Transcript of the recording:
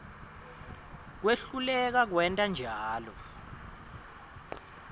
kwehluleka kwenta njalo